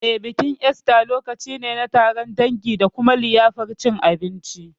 Eh, bikin Esta lokaci ne na taron dangi da kuma liyafar cin abinci.